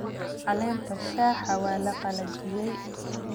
Caleenta shaaha waa la qalajiyey